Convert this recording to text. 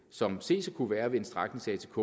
som ses at kunne være ved en stræknings atk